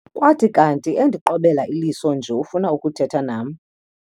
Kwathi kanti endiqobela iliso nje ufuna ukuthetha nam.